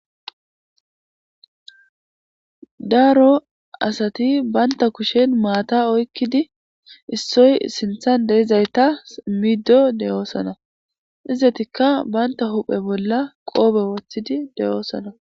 Daro asati bantta kushen maata issoy sinthan de7izayta immido de7oosona. Izatikka bantta huu7e bolla qoobe wothidi de7oosona